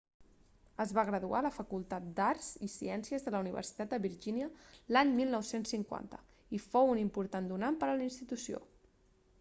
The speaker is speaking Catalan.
es va graduar a la facultat d'arts i ciències de la universitat de virgínia l'any 1950 i fou un important donant per a la institució